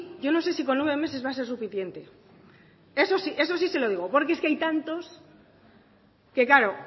yo no sé si con nueve meses va a ser suficiente eso sí se lo digo porque es que hay tantos que claro